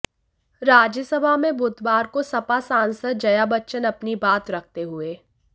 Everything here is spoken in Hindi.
राज्यसभा में बुधवार को सपा सांसद जया बच्चन अपनी बात रखते हुए